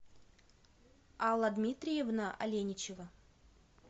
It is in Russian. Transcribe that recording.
алла дмитриевна аленичева